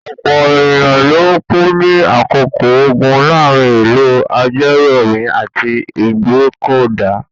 Ọ̀pọ̀ ènìyàn ló kú ní àkókò ogun láàárin ìlú Ajérọ̀mí àti Ìgbọ́kọ̀dà.